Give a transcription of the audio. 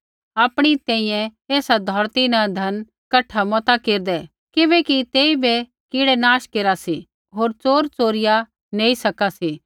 आपणी तैंईंयैं एसा धौरती न धन कठा मता केरदै किबैकि तेइबै कीड़ै नाश केरा सी होर च़ोर च़ोरिया नैंई सका सी